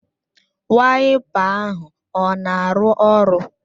Waịpa ahụ ọ na-arụ ọrụ?